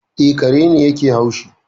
E, kare ne yake haushi